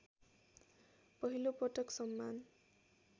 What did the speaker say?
पहिलोपटक सम्मान